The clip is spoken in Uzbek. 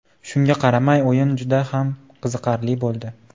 Shunga qaramay o‘yin juda ham qiziqarli bo‘ldi.